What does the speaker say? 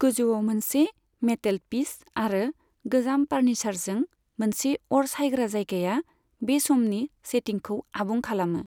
गोजौआव मोनसे मेटेलपीस आरो गोजाम फार्निसारजों मोनसे अर सायग्रा जायगाया बे समनि सेटिंखौ आबुं खालामो।